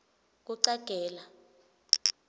kucagela